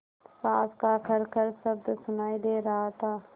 साँस का खरखर शब्द सुनाई दे रहा था